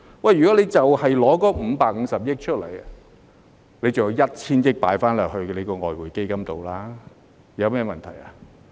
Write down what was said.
如果只花550億元，尚有 1,000 億元可以存入外匯基金中，那有甚麼問題呢？